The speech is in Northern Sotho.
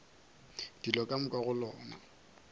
dilo ka moka go lona